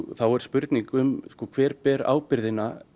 þá er spurning um hver ber ábyrgðina